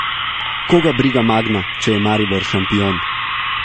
Koga briga Magna, če je Maribor šampion!